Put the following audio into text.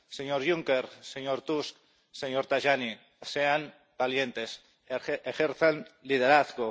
Señor Juncker, señor Tusk, señor Tajani sean valientes, ejerzan liderazgo